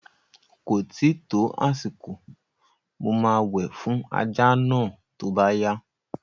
Ko tíì tó àsìkò, mo máa wẹ̀ fún ajá náà tó bá yá